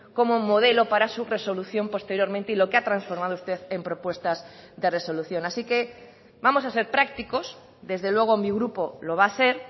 como modelo para su resolución posteriormente y lo que ha transformado usted en propuestas de resolución así que vamos a ser prácticos desde luego mi grupo lo va a ser